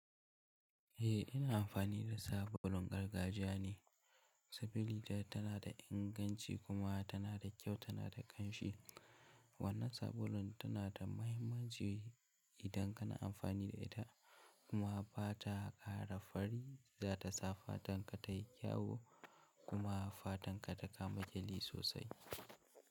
Eh ina amfani da sabulun gargajiya ne. Sabuli ta tana da inganci kuma tana da kyau, tana da ƙanshi. Wannan sabulun tana da muhimmanci idan kana amfani da ita kuma ba ta ƙara fari za ta sa fatanka ta yi kyawo kuma fatanka ta kama ƙyalli sosai.